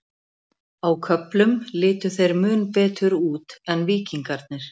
Á köflum litu þeir mun betur út en Víkingarnir.